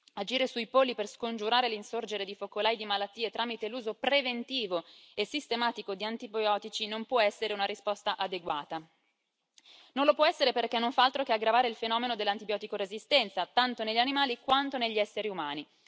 Agire sui polli per scongiurare l'insorgere di focolai di malattie tramite l'uso preventivo e sistematico di antibiotici non può essere una risposta adeguata, non lo può essere perché non fa altro che aggravare il fenomeno dell'antibiotico resistenza, tanto negli animali, quanto negli esseri umani.